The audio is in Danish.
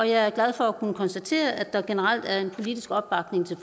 jeg er glad for at kunne konstatere at der generelt er en politisk opbakning til